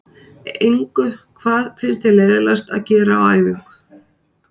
Engu Hvað finnst þér leiðinlegast að gera á æfingu?